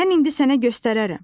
Mən indi sənə göstərərəm.